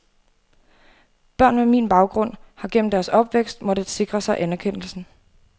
Børn med min baggrund har gennem deres opvækst måttet sikre sig anerkendelsen.